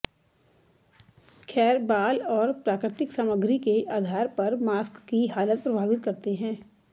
खैर बाल और प्राकृतिक सामग्री के आधार पर मास्क की हालत प्रभावित करते हैं